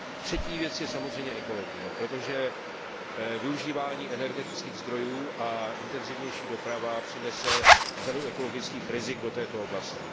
Třetí věc je samozřejmě ekologie, protože využívání energetických zdrojů a intenzivnější doprava přinese řadu ekologických rizik do této oblasti.